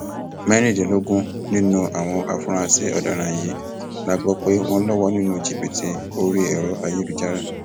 mẹrìndínlógún nínú àwọn afurasí ọdaràn yìí la gbọ pé wọn lọwọ nínú jìbìtì orí ẹrọ ayélujára